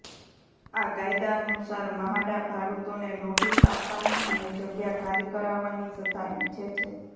આ કાયદાનુસાર મ્હાડા ભાડૂતોને નોટિસ આપવાની અને જગ્યા ખાલી કરાવવાની સત્તા ઈચ્છે છે